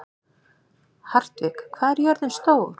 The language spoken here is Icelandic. Hartvig, hvað er jörðin stór?